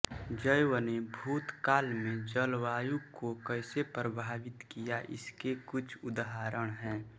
जैव ने भूतकाल में जलवायु को कैसे प्रभावित किया इसके कुछ उदाहरण हैं